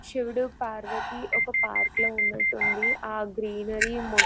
శివుడుపార్వతి ఒక పార్క్ లో ఉన్నట్టుంది. ఆ గ్రీనరీ --